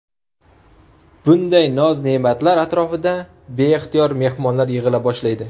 Bunday noz-ne’matlar atrofida beixtiyor mehmonlar yig‘ila boshlaydi.